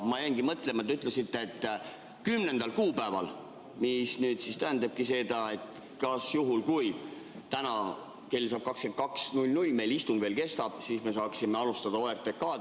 Ma jäingi mõtlema: te ütlesite, et 10. kuupäeval, mis nüüd tähendabki seda, et juhul kui täna saab kell 22.00 ja meil istung veel kestab, me saaksime alustada OTRK-d.